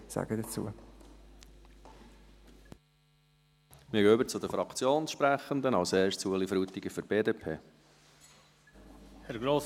Dann gehen wir über zu den Fraktionssprechenden, zuerst Ueli Frutiger für die BDP.